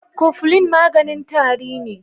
Cofflin maganin tari ne.